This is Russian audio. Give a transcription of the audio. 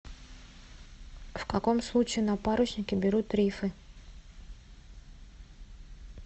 в каком случае на паруснике берут рифы